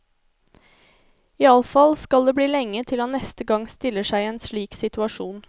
Iallfall skal det bli lenge til han neste gang stiller seg i en slik situasjon.